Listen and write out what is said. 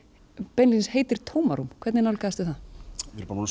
beinlínis heitir tómarúm hvernig nálgaðistu það við erum búin að